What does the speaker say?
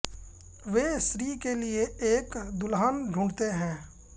वे श्री के लिए एक दुल्हन ढूंढते हैं